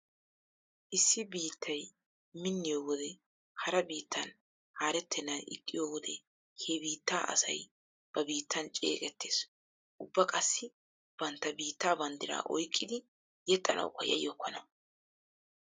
Issi biittay minniyo wode hara biittan haarettennan ixxiyo wode he biittaa asay ba biittan ceeqettees. Ubba qassi bantta biittaa banddiraa oyqqidi yexxanawukka yayyokkona.